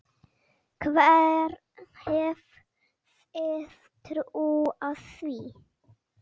Hver hefði trúað því??